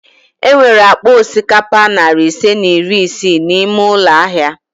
E nwere akpa osikapa nari ise na iri isii n'ime ụlọ ahịa